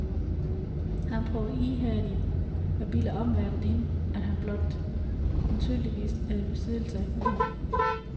Han prøver ihærdigt at bilde omverdenen ind, at han blot antydningsvis er i besiddelse af humor.